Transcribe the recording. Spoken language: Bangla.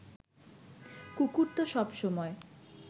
কুকুর তো সব সময়